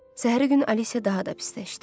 Səhəri gün Alisya daha da pisləşdi.